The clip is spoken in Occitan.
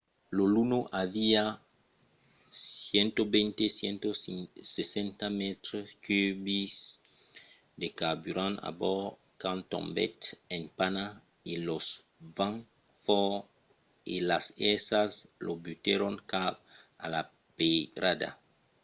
lo luno aviá 120-160 mètres cubics de carburant a bòrd quand tombèt en pana e los vents fòrt e las èrsas lo butèron cap a la peirada